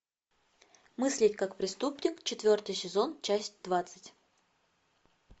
мыслить как преступник четвертый сезон часть двадцать